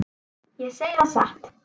Ég segi það satt.